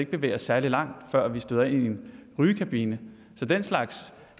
bevæge os særlig langt før vi støder ind i en rygekabine så den slags